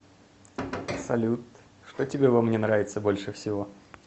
салют что тебе во мне нравится больше всего